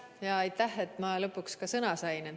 Ja aitäh, et ma lõpuks ka sõna sain!